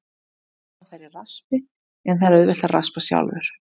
Hægt er að fá þær í raspi, en það er auðvelt að raspa sjálfur.